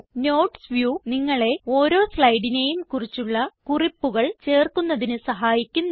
notes view നിങ്ങളെ ഓരോ സ്ലൈഡിനേയും കുറിച്ചുള്ള കുറിപ്പുകൾ ചേർക്കുന്നതിന് സഹായിക്കുന്നു